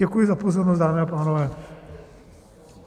Děkuji za pozornost, dámy a pánové.